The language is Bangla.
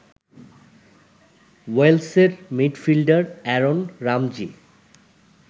ওয়েলসের মিডফিল্ডার অ্যারন রামজি